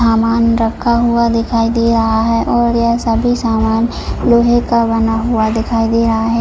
सामान रखा हुआ दिखाई दे रहा हैऔर यह सभी सामान लोहे का बना हुआ दिखाई दे रहा है।